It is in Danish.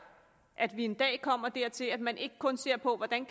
at vi en dag kommer dertil at man ikke kun ser på hvordan